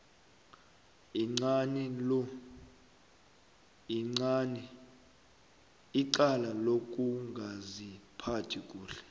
icala lokungaziphathi kuhle